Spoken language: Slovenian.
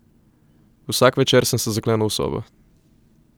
Vsak večer sem se zaklenil v sobo.